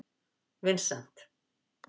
Vincent